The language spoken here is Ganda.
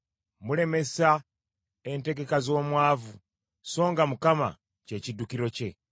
Mulemesa entegeka z’omwavu, songa Mukama kye kiddukiro kye.